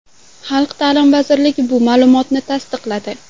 Xalq ta’limi vazirligi bu ma’lumotni tasdiqladi.